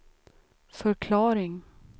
förklaring